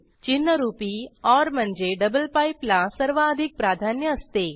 चिन्हरूपी or म्हणजे double pipe ला सर्वाधिक प्राधान्य असते